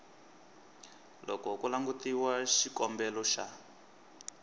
loko ku langutiwa xikombelo xa